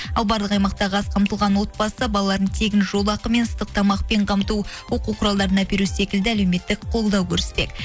ал барлық аймақтағы аз қамтылған отбасы балалардың тегін жолақы мен ыстық тамақпен қамту оқулық құралдарын әперу секілді әлеуметтік қолдау көрсетпек